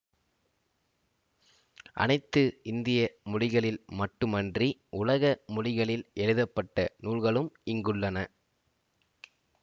அனைத்து இந்திய மொழிகளில் மட்டுமன்றி உலக மொழிகளில் எழுதப்பட்ட நூல்களும் இங்குள்ளன